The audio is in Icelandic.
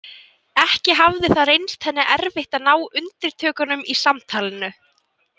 Ekki hafði það reynst henni erfitt að ná undirtökunum í samtalinu.